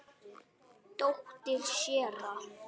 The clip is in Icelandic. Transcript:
Dóttir séra